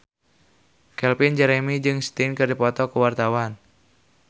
Calvin Jeremy jeung Sting keur dipoto ku wartawan